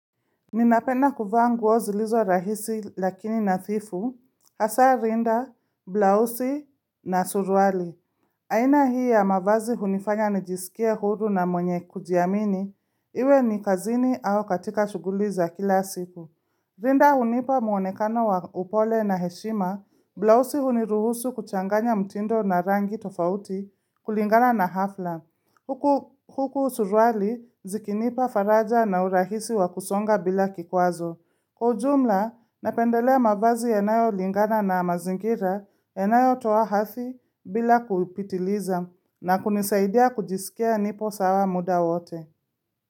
Ninapenda kuvaa ngu ozilizo rahisi lakini na thifu, hasa rinda, blausi na suruali. Aina hii ya mavazi hunifanya nijiskie huru na mwenye kujiamini, iwe ni kazini au katika shughuliza kila siku. Rinda hunipa muonekano wa upole na heshima, blausi huniruhusu kuchanganya mtindo na rangi tofauti kulingana na hafla. Huku Huku suruali zikinipa faraja na urahisi wakusonga bila kikwazo. Kwa ujumla, napendelea mavazi yanayolingana na mazingira yanayo toa hathi bila kupitiliza na kunisaidia kujisikia nipo sawa muda wote.